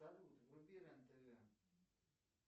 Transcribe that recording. салют вруби рен тв